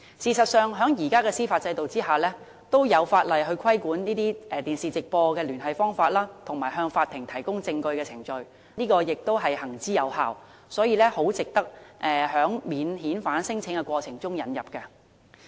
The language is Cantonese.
事實上，在現行的司法制度下，已有法例規管以電視直播聯繫方式向法庭提供證據的程序，並且行之有效，很值得在免遣返聲請的過程中引入。